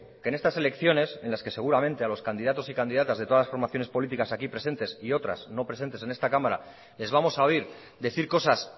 que en estas elecciones en las que seguramente a los candidatos y candidatas de todas las formaciones políticas aquí presentes y otras no presentes en esta cámara les vamos a oír decir cosas